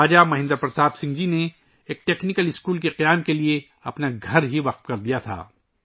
راجہ مہندر پرتاپ سنگھ جی نے ایک technical school کے قیام کے لئے اپنا گھر ہی سونپ دیا تھا